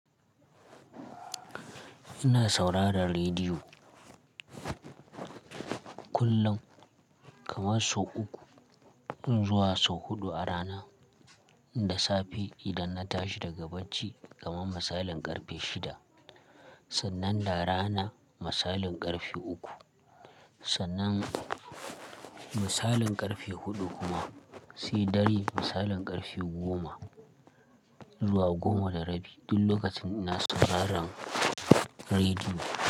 Ina saurara rediyo kullum, kamar sau uku in zuwa sau huɗu a rana. Da safe idan na tashi daga bacci kamar misalin ƙarfe shida, sannan da rana misalin ƙarfe uku, sannan misalin ƙarfe huɗu kuma sai dare misalin ƙarfe goma zuwa goma da rabi duk lokacin ina sauraron rediyo.